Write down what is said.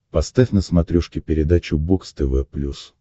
поставь на смотрешке передачу бокс тв плюс